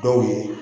Dɔw ye